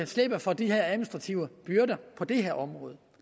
slippe for de her administrative byrder på det her område